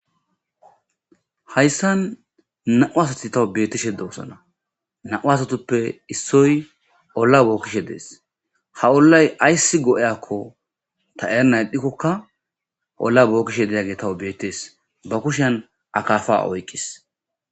hayssan na7u asati tawu beettishe doosana na7u asatuppe issoy olla bookkishe dees ha ollay ayssi go7eyakko ta eerna edhdhikkokka olla bookkishe didage tawu bettees ba kushan akafa oykqis